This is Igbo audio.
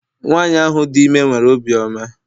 Nwanyị ahụ dị ime nwere obi ọma